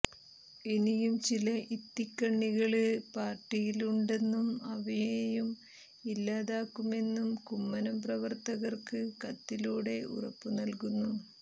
ഇനിയും ചില ഇത്തിള്ക്കണ്ണികള് പാര്ട്ടിയില് ഉണ്ടെന്നും അവയെയും ഇല്ലാതാക്കുമെന്നും കുമ്മനം പ്രവര്ത്തകര്ക്ക് കത്തിലൂടെ ഉറപ്പുനല്കുന്നു